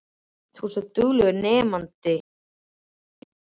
Þú ert svo duglegur nemandi og ungherji.